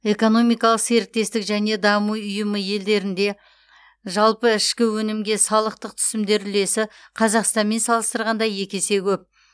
экономикалық серіктестік және даму ұйымы елдерінде жалпы ішкі өнімге салықтық түсімдер үлесі қазақстанмен салыстырғанда екі есе көп